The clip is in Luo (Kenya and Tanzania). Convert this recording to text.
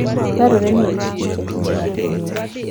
Dwarore ni orit kich e kinde ma piny ng'ich.